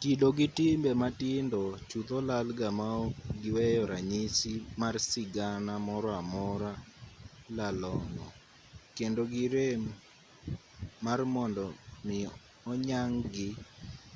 kido gi timbe matindo chutho lalga maok giweyo ranyisi mar sigana moro amora lalong'o kendo girem mar mondo mi oyang-gi